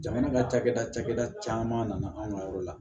Jamana ka cakɛda cakɛda caman nana anw ka yɔrɔ la